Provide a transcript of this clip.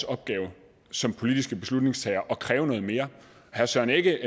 opgave som politiske beslutningstagere at kræve noget mere herre søren egge